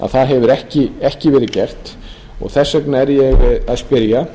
það hefur ekki verið gert og þess vegna er ég að spyrja